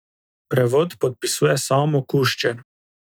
Prevod podpisuje Samo Kuščer.